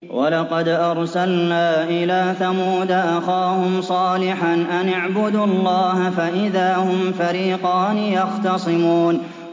وَلَقَدْ أَرْسَلْنَا إِلَىٰ ثَمُودَ أَخَاهُمْ صَالِحًا أَنِ اعْبُدُوا اللَّهَ فَإِذَا هُمْ فَرِيقَانِ يَخْتَصِمُونَ